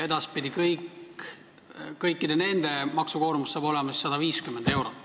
Edaspidi hakkab nende kõikide maksukoormus olema 150 eurot.